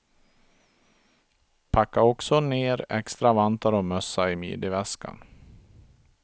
Packa också ner extra vantar och mössa i midjeväskan.